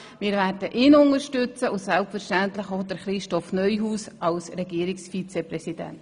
Wir werden ihn unterstützen und selbstverständlich auch Christoph Neuhaus als Regierungsvizepräsidenten.